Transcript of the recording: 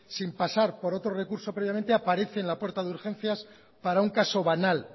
sin pasar por otro recurso previamente aparece en la puerta de urgencias para un caso banal